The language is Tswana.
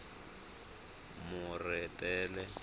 moretele